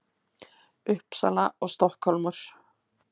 Uppsala og Stokkhólmur.